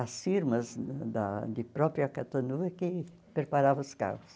As firmas da de própria Catanduva que preparavam os carros.